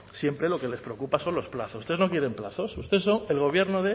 siempre lo que les preocupa son los plazos ustedes no quieren plazos usted solo el gobierno